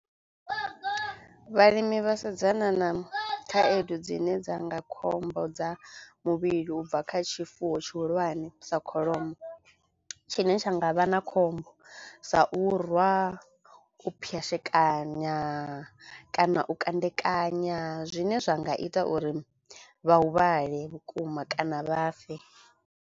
Vhalimi vha sedzana na khaedu dzine dzanga khombo dza muvhili ubva kha tshifuwo tshihulwane sa kholomo tshine tsha nga vha na khombo sa u rwa, u pwayashekanya kana u kandekanya zwine zwa nga ita uri vha huvhale vhukuma kana vha fe.